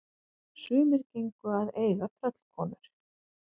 Sumir gengu að eiga tröllkonur.